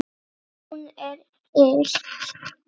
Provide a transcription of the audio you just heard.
Hún er ill.